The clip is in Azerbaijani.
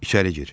İçəri gir.